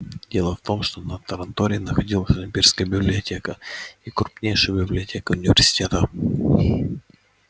дело в том что на таранторе находятся имперская библиотека и крупнейшая библиотека университета